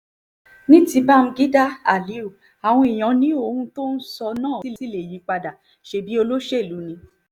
ní ti báḿgídá aliyu àwọn èèyàn ni ohun tó ń sọ náà ṣì lè yípadà ṣebí olóṣèlú ni